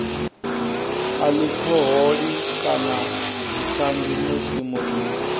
alikhoholi kana zwikambi musi muthu